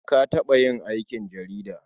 Na taɓa yin aikin jarida.